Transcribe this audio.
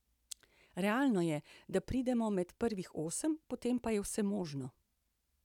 Realno je, da pridemo med prvih osem, potem pa je vse možno.